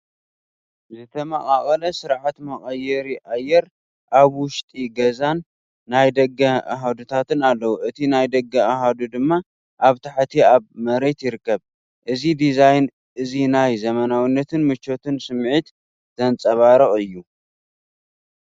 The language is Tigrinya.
ዝተመቓቐለ ስርዓተ መቀየሪ ኣየር ኣብ ውሽጢ ገዛን ናይ ደገን ኣሃዱታት ኣለዎ። እቲ ናይ ደገ ኣሃዱ ድማ ኣብ ታሕቲ ኣብ መሬት ይርከብ። እዚ ዲዛይን እዚ ናይ ዘመናዊነትን ምቾትን ስምዒት ዘንጸባርቕ እዩ።